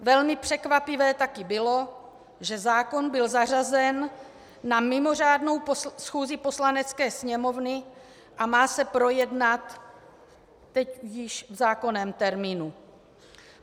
Velmi překvapivé taky bylo, že zákon byl zařazen na mimořádnou schůzi Poslanecké sněmovny a má se projednat teď již v zákonném termínu.